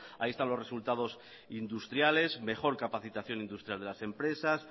ahí están los resultados industriales mejor capacitación industrial de las empresas